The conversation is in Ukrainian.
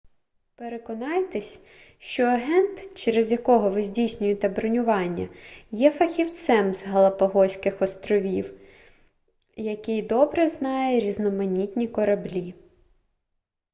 переконайтесь що агент через якого ви здійснюєте бронювання є фахівцем з галапагоських островів який добре знає різноманітні кораблі